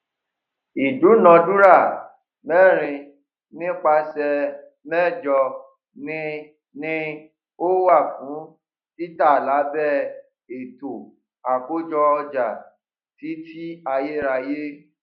ìdúnàdúrà mẹrin nípasẹ méjọ ni ni ó wà fún títa lábẹ ètò àkójọ ọjà títí ayérayé